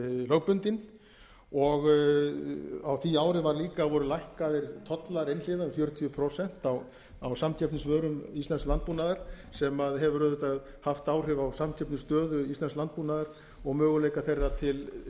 lögbundinn á því ári voru líka lækkaðir tollar einhliða um fjörutíu prósent á samkeppnisvörum íslensks landbúnaðar sem hefur auðvitað haft áhrif á samkeppnisstöðu íslensks landbúnaðar og möguleika þeirra til